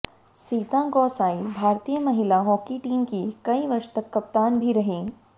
सीता गौसाई भारतीय महिला hockey team की कई वर्ष तक कप्तान भी रही